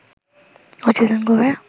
অচেতন করে